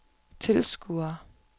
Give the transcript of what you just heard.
tilskuere